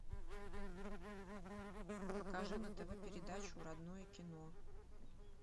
покажи на тв передачу родное кино